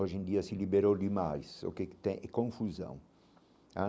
Hoje em dia se liberou demais, o que que tem é confusão.